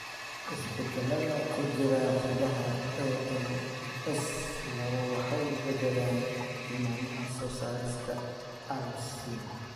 Isbeddellada ku jira hiddaha ALS lawo waxay beddelaan tilmaamaha soo saarista alsin.